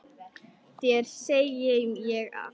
Þér segi ég allt.